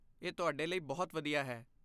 ਇਹ ਤੁਹਾਡੇ ਲਈ ਬਹੁਤ ਵਧੀਆ ਹੈ।